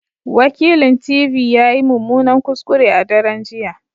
Wakilint.v ya yi mummunan kuskure a daren jiya